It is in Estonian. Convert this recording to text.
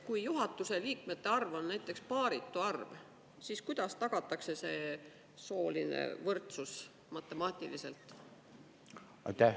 Kui juhatuse liikmete arv on paaritu arv, siis kuidas tagatakse see sooline võrdsus matemaatiliselt?